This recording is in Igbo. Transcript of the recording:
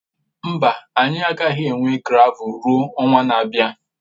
Mba, anyị agaghị enwe gravel ruo ọnwa na-abịa.